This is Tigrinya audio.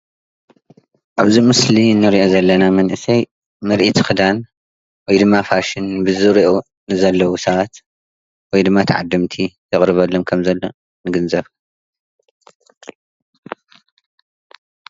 ኣብ እዚ ምስሊ ንሪኦ ዘለና መንእሰይ ምርኢት ክዳን ወይድማ ፋሽን ብዝርይኡ ንዘለው ሰባት ወይ ድማ ተዓደምቲ ዘቅርበሎም ከም ዘሎ ንግንዘብ።